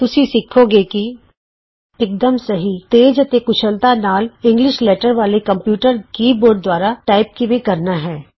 ਤੁਸੀਂ ਸਿੱਖੋਂਗੇ ਕਿ ਇਕਦਮ ਸਹੀ ਤੇਜ਼ ਅਤੇ ਕੁਸ਼ਲਤਾ ਨਾਲ ਇੰਗਲਿਸ਼ ਵਰਣਮਾਲਾ ਵਾਲੇ ਕੰਪਯੂਟਰ ਕੀ ਬੋਰਡ ਦੁਆਰਾ ਟਾਈਪ ਕਿਵੇਂ ਕਰਨਾ ਹੈ